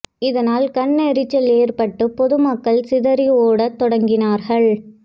இதனால் கண் எரிச்சல் ஏற்பட்டு பொதுமக்கள் சிதறி ஓடத் தொடங்கினார்கள்